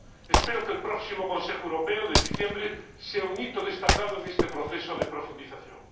Espero que el próximo Consejo Europeo del mes de diciembre sea un hito destacado en este proceso de profundización.